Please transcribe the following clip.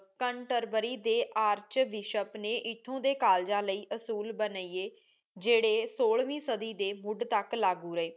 ਕੰਟਰ ਬਾਰੀ ਦੇ archbishop ਨੇ ਏਥੋਂ ਦੇ ਕਾਲਜਾ ਲਈ ਅਸੂਲ ਬਣਾਏ ਜੇੜੇ ਸੋਲ੍ਹ੍ਵੀ ਸਦੀ ਦੇ ਮੁੰਡ ਤਕ ਲਾਗੂ ਰਹੀ